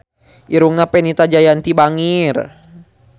Irungna Fenita Jayanti bangir